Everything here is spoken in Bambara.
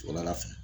Sɔgɔmada fɛ